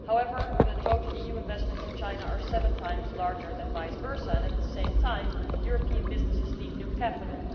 However, total EU investments in China are seven times larger than vice versa, and at the same time European businesses need new capital.